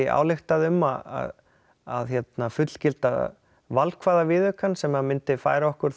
ályktaði um að að fullgilda valkvæða viðaukann sem að myndi færa okkur